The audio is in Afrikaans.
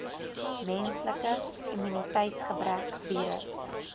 menslike immuniteitsgebrek virus